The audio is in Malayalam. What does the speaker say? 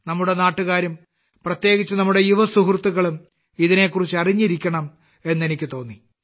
നമ്മുടെ നാട്ടുകാരും പ്രത്യേകിച്ച് നമ്മുടെ യുവസുഹൃത്തുക്കളും ഇതിനെക്കുറിച്ച് അറിഞ്ഞിരിക്കണം എന്ന് എനിക്ക് തോന്നി